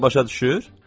Rusca başa düşür?